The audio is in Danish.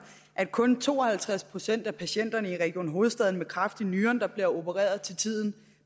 at kun to og halvtreds procent af patienterne i region hovedstaden med kræft i nyren bliver opereret til tiden